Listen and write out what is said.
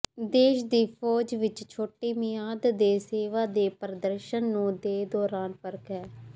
ਦੇਸ਼ ਦੀ ਫੌਜ ਵਿਚ ਛੋਟੀ ਮਿਆਦ ਦੇ ਸੇਵਾ ਦੇ ਪ੍ਰਦਰਸ਼ਨ ਨੂੰ ਦੇ ਦੌਰਾਨ ਫਰਕ ਹੈ